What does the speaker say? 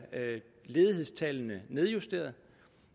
ledighedstallene nedjusteret